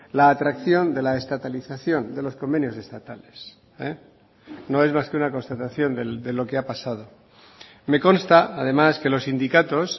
la atracción de la estatalización de los convenios estatales no es más que una constatación de lo que ha pasado me consta además que los sindicatos